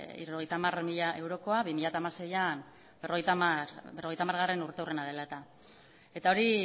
hirurogeita hamar mila eurokoa bi mila hamaseian berrogeita hamarurteurrena dela eta eta hori